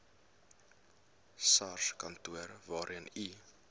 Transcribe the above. sarskantoor waarheen u